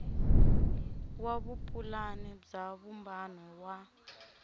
wa vupulani bya vumbano wa